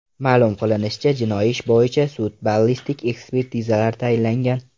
Ma’lum qilinishicha, jinoiy ish bo‘yicha sud-ballistik ekspertizalar tayinlangan.